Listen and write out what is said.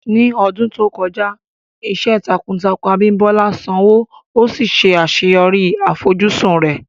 Ní ọdún tó kọjá, iṣẹ́ takuntakun Abimbola sanwó, ó sì ṣe àṣeyọrí àfojúsùn rẹ̀.